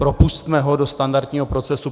Propusťme ho do standardního procesu.